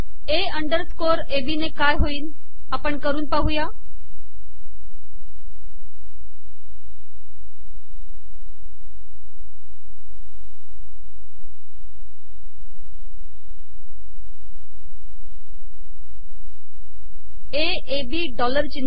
ए underscore A B dollar िचनह